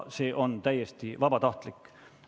See on täiesti vabatahtlik.